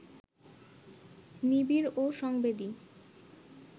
নিবিড় ও সংবেদী